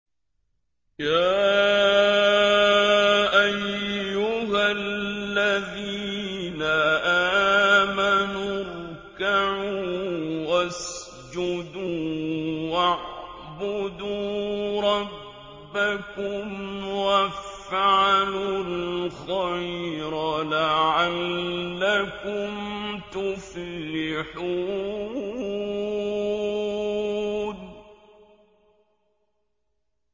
يَا أَيُّهَا الَّذِينَ آمَنُوا ارْكَعُوا وَاسْجُدُوا وَاعْبُدُوا رَبَّكُمْ وَافْعَلُوا الْخَيْرَ لَعَلَّكُمْ تُفْلِحُونَ ۩